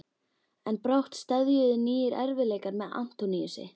En brátt steðjuðu nýir erfiðleikar að Antóníusi.